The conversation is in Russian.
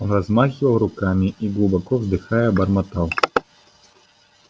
он размахивал руками и глубоко вздыхая бормотал